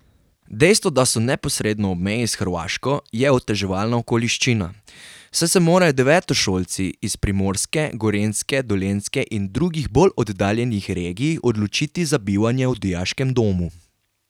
Dejstvo, da so neposredno ob meji s Hrvaško, je oteževalna okoliščina, saj se morajo devetošolci iz Primorske, Gorenjske, Dolenjske in drugih bolj oddaljenih regij odločiti za bivanje v dijaškem domu.